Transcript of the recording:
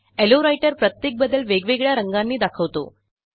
low writer प्रत्येक बदल वेगवेगळ्या रंगानी दाखवतो